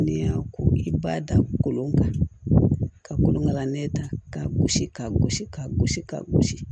N'i y'a ko i b'a da kolon kan ka kolonkala nɛ ta k'a gosi k'a gosi k'a gosi ka gosi